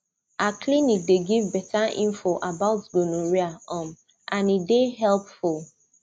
our clinic dey give better info about gonorrhea um and e dey helpful